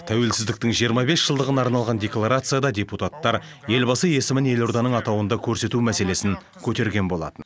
тәуелсіздіктің жиырма бес жылдығына арналған декларацияда депутаттар елбасы есімін елорданың атауында көрсету мәселесін көтерген болатын